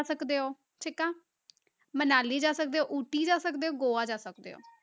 ਸਕਦੇ ਹੋ, ਠੀਕ ਆ, ਮਨਾਲੀ ਜਾ ਸਕਦੇ ਹੋ, ਊਟੀ ਜਾ ਸਕਦੇ ਹੋ, ਗੋਆ ਜਾ ਸਕਦੇ ਹੋ।